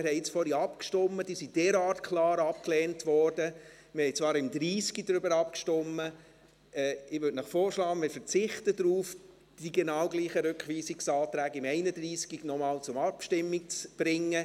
Wir haben vorhin abgestimmt, und sie wurden derart klar abgelehnt – wir haben zwar beim Traktandum 30 darüber abgestimmt –, dass ich Ihnen vorschlagen würde, darauf zu verzichten, die genau gleichen Rückweisungsanträge beim Traktandum 31 noch einmal zur Abstimmung zu bringen.